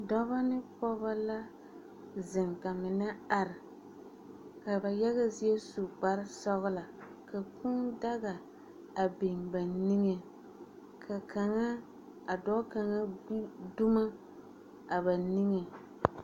Dͻbͻ ne pͻgebͻ zeŋ ka mine are ka ba yaga zie su kpare-sͻgelͻ, ka kũũ daga a biŋ ba niŋe ka kaŋa a dͻͻ kaŋa gbi dumo a ba niŋe.